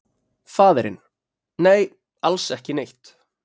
Faðirinn: Nei, alls ekki neitt.